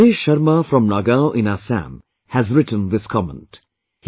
Mr Ramesh Sharma from Nagaon in Assam has written this comment